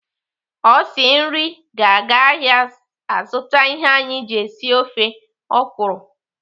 Osi nri ga-aga ahịa azụta ihe anyị ji esi ofe ọkwụrụ.